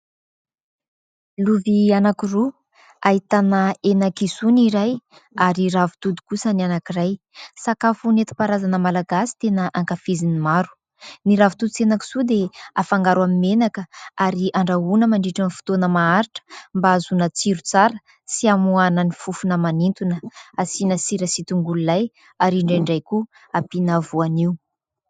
Lovia anankiroa, ahitana henan-kisoa ny iray ary ravitoto kosa ny anankiray. Sakafo nentim-paharazana malagasy tena ankafizin'ny maro. Ny ravitoto sy henan-kisoa dia afangaro amin'ny menaka ary andrahoana mandritra ny fotoana maharitra mba ahazoana tsiro tsara sy amoahana ny fofona manintona. Asiana sira sy tongolo lay ary indraindray koa ampiana voanio.